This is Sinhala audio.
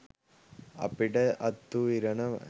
අපට අත් වු ඉරණම